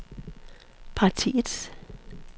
partiets